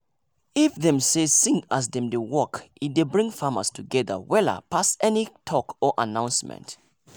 if dem dey sing as dem dey work e dey bring farmers togetther wella pass any talk or announcement.